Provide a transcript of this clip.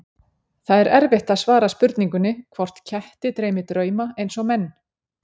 Það er erfitt að svara spurningunni hvort ketti dreymi drauma eins og menn.